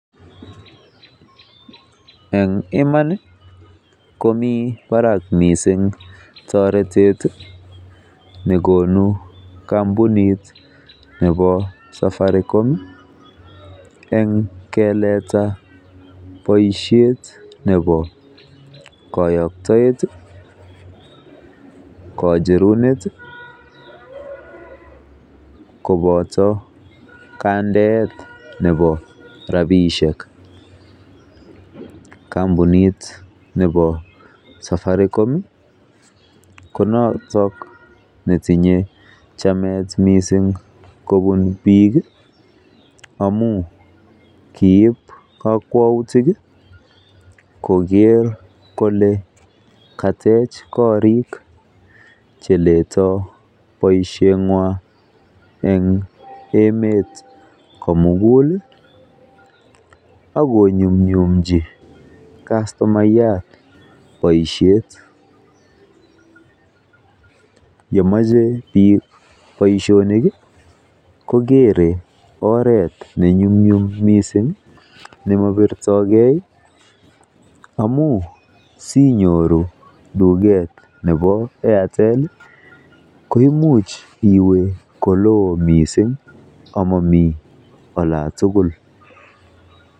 Eng Iman komi barak mising toretet nekonu kampunit nebo safaricom eng keleta boishet nebo koyoktoet kocherunet koboto kandeet nebo rapishek kampunit nebo safaricom konotok netinye chamet missing kobun biik amun kiip kakwautik koker kole katech korik cheleto boishet ng'wan eng emet komukul akonyumnyumchi kastomaiyat boishet yemoche biik boishonik kokere oret ne nyumnyum missing nemobirtokei amun sinyoru tuket nebo airtel koimuch iwe ko loo missing amomi olatugul.